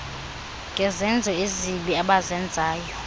ngezenzo ezibi abazenzayo